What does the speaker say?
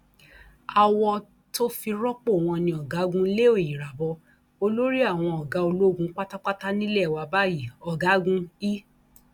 awọ tó fi rọpò wọn ni ọgágun leo irabor olórí àwọn ọgá ológun pátápátá nílé wa báyìí ọgágun i